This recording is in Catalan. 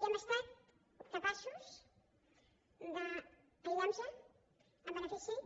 i hem estat capaços d’aïllar nos en benefici